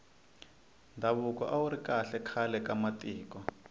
ndhavuko awuri kahle khale ka matiko